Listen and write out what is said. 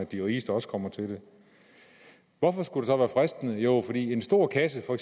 de rigeste også kommer til det hvorfor skulle være fristende jo fordi en stor kasse for